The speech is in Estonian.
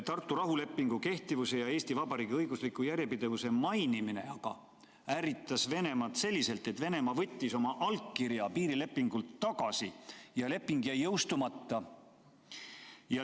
Tartu rahulepingu kehtivuse ja Eesti Vabariigi õigusliku järjepidevuse mainimine aga ärritas Venemaad selliselt, et Venemaa võttis oma allkirja piirilepingult tagasi ja leping jäi jõustamata.